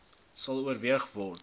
sal oorweeg word